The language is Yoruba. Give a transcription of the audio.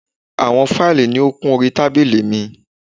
Àwọn fáìlì ni ó kún orí tábílì mi.